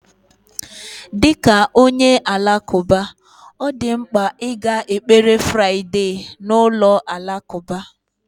Dị ka onye Alakụba, ọ dị mkpa ịga ekpere Friday Friday na ụlọ alakụba